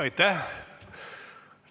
Aitäh!